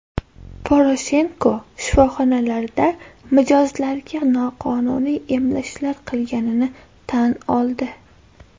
Poroshenko shifoxonalarda mijozlarga noqonuniy emlashlar qilganini tan oldi.